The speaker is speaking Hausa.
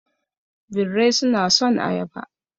Birrai suna son ayaba